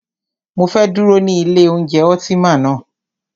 Mọ fẹ́ dúró ní ilé oúnjẹ Ultima ná.